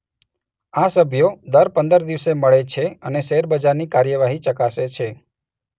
આ સભ્યો દર પંદર દિવસે મળે છે અને શેર બજારની કાર્યવાહી ચકાસે છે.